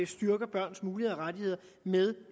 styrker børns muligheder og rettigheder med